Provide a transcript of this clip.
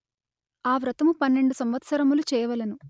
ఆ వ్రతము పన్నెండు సంవత్సరములు చేయవలెను